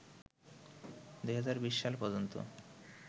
২০২০ সাল পর্যন্ত